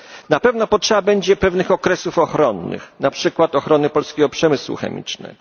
Na pewno potrzeba będzie pewnych okresów ochronnych, na przykład ochrony polskiego przemysłu chemicznego.